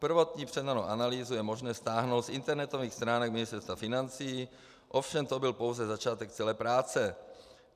Prvotní předanou analýzu je možné stáhnout z internetových stránek Ministerstva financí, ovšem to byl pouze začátek celé práce.